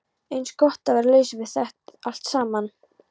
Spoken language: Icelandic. Eins gott að vera laus við það allt saman.